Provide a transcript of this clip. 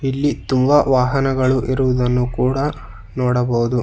ಇಲ್ಲಿ ತುಂಬ ವಾಹನಗಳು ಇರುವುದನ್ನು ಕೂಡ ನೋಡಬಹುದು.